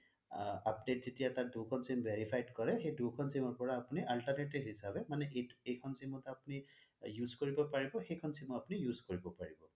Update যেতিয়া তাৰ দুখন sim verified কৰে সেই দুখন sim ৰ পৰা আপুনি alternate হিচাপে মানে এইখন sim অত আপুনি use কৰিব পাৰিব সেইখন sim ও পৰিব